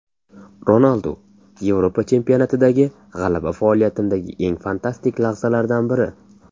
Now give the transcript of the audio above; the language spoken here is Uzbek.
Ronaldu: Yevropa chempionatidagi g‘alaba faoliyatimdagi eng fantastik lahzalardan biri.